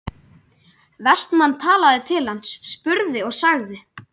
Vestmann talaði til hans, spurði og sagði